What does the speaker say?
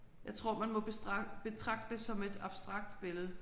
Jeg tror man må betragte betragte det som et abstrakt billede